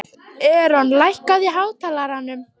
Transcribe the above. Eron, lækkaðu í hátalaranum.